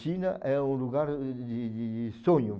China é o lugar de de de sonho.